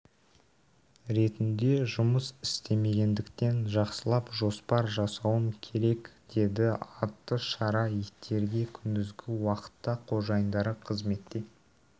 ретінде жұмыс істемегендіктен жақсылап жоспар жасауым керек деді атты шара иттерге күндізгі уақытта қожайындары қызметте